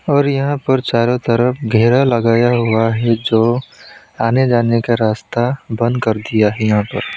और यहां पर चारों तरफ घेरा लगाया हुआ है जो आने जाने का रास्ता बंद कर दिया है यहां पे।